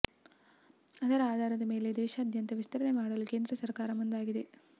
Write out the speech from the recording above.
ಅದರ ಆಧಾರದ ಮೇಲೆ ದೇಶಾದ್ಯಂತ ವಿಸ್ತರಣೆ ಮಾಡಲು ಕೇಂದ್ರ ಸರ್ಕಾರ ಮುಂದಾಗಿದೆ